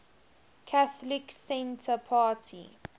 catholic centre party